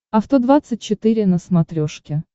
авто двадцать четыре на смотрешке